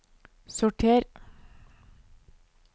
sorter